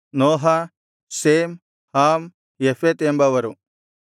ನೋಹ Shem Ham Japheth ಎಂಬವರು